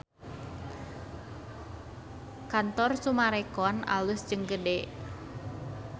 Kantor Summarecon alus jeung gede